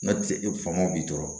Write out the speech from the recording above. N'o tɛ e famo b'i tɔɔrɔ